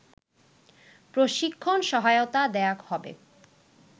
প্রশিক্ষণ সহায়তা দেয়া হবে